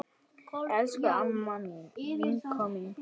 Elsku amma mín, vinkona mín.